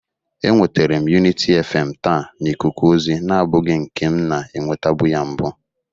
Enwetere m Uniti FM taa n'ikuku ozi nabụghi nke m na-enwetebụ ya mbụ.